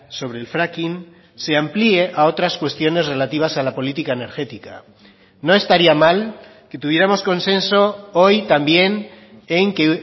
sobre el fracking se amplíe a otras cuestiones relativas a la política energética no estaría mal que tuviéramos consenso hoy también en que